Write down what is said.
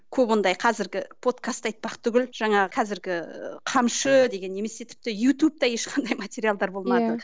көп ондай қазіргі подкасты айтпақ түгілі жаңағы қазіргі ііі қамшы деген немесе тіпті ютубта ешқандай материалдар болмады иә